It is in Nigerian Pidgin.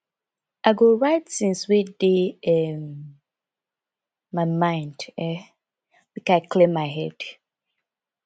i go write tins wey dey um my mind um make i clear my head